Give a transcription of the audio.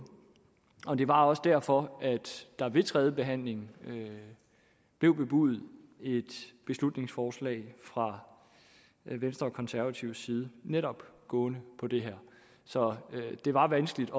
og det var også derfor at der ved tredjebehandlingen blev bebudet et beslutningsforslag fra venstre og konservatives side netop gående på det her så det var vanskeligt